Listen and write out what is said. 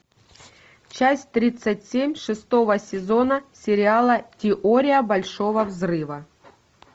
часть тридцать семь шестого сезона сериала теория большого взрыва